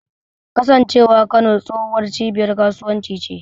Kasancewar Kano tsohuwar cibiyar kasuwanci ce.